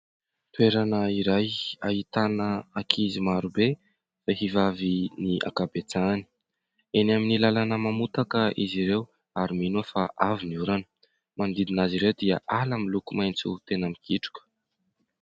Toerana iray ahitana ankizy maro be vehivavy ny ankabetsahany. Eny amin'ny lalana mamotaka izy ireo ary mino aho fa avy ny orana. Manodidina azy ireo dia ala miloko maitso tena mikitroka.